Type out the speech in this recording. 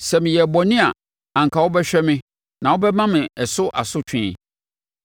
Sɛ meyɛɛ bɔne a anka wobɛhwɛ me na wobɛma me ɛso asotwe.